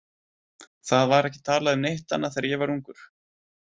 Það var ekki talað um neitt annað þegar ég var ungur.